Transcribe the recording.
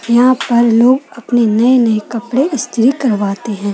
यहाँ पर लोग अपने नए-नए कपड़े स्त्री करवाते हैं।